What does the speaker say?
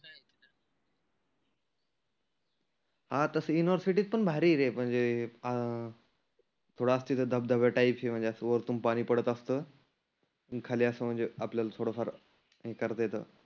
हा तसं युनिव्हर्सिटीत पण भारी आहे रे म्हणजे अं थोड असं धबधब्या टाईप म्हणजे असं वरतुन पाणि पडत असतं खाली असं म्हणजे आपल्याला थोड फार करता येतं.